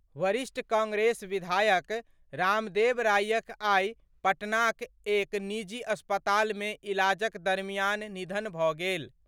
वरिष्ठ कांग्रेस विधायक रामदेव रायक आई पटनाक एक निजी अस्पताल मे इलाजक दरमियान निधन भऽ गेल।